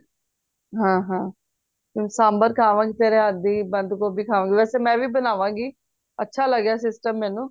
ਹਾਂ ਹਾਂ ਸਾਂਬਰ ਖਾਵਾ ਗਈ ਤੇਰੇ ਹੱਥ ਦੀ ਬੰਦ ਗੋਭੀ ਖਾਵਾ ਗੀ ਵੈਸੇ ਮੈਂ ਵੀ ਬਣਾਵਾ ਗੀ ਅੱਛਾ ਲੱਗਿਆ system ਮੈਨੂੰ